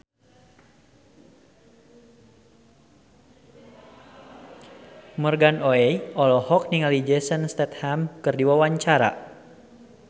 Morgan Oey olohok ningali Jason Statham keur diwawancara